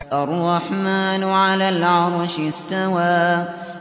الرَّحْمَٰنُ عَلَى الْعَرْشِ اسْتَوَىٰ